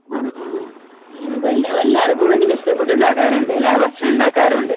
ആഹ് ആണോ അപ്പോ എല്ലാർക്കും അങ്ങനെ ഇഷ്ടപ്പെട്ടുണ്ടാക്കാറുണ്ടല്ലേ ഭക്ഷണം ഉണ്ടാക്കാറുണ്ട്.